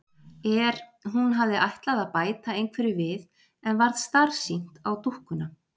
Er. hún hafði ætlað að bæta einhverju við en varð starsýnt á dúkkuna.